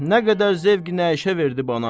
Nə qədər zövq nəşə verdi bana.